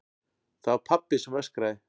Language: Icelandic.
Það var pabbi sem öskraði.